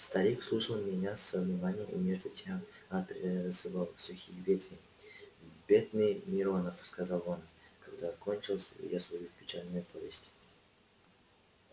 старик слушал меня со вниманием и между тем отрезывал сухие ветви бедный миронов сказал он когда кончил я свою печальную повесть